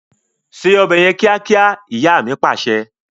Ṣé ọbẹ̀ yẹn kíákíá! Ìyá mi Pàṣẹ.